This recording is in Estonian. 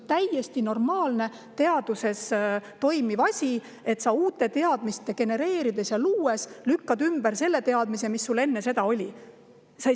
See on teaduses täiesti normaalne, et uusi teadmisi genereerides ja luues lükatakse ümber teadmine, mis enne seda oli.